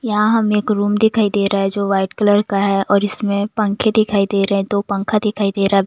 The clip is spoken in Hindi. यहाँ हमें एक रूम दिखाई दे रहा है जो व्हाइट कलर का है और इसमें पंखे दिखाई दे रहे हैं दो पंखा दिखाई दे रहा है।